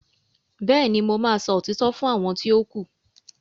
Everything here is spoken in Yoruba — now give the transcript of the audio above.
béèni mọ má sọ òtítọ́ fún àwọn ti o ku.